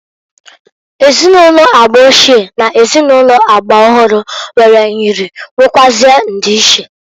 Ezinụlọ agba ochie n' ezinụlọ agba ọhụrụ nwere nyịrị nwekwụazi ndiiche.